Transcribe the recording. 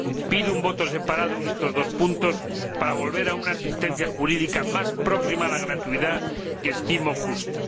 Pido una votación por separado en estos dos puntos, para volver a una asistencia jurídica más próxima a la gratuidad, que estimo justa.